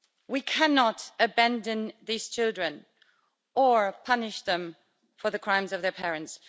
We cannot abandon these children, or punish them for the crimes of their parents.